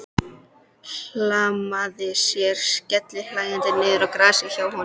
Hlammaði sér skellihlæjandi niður í grasið hjá honum.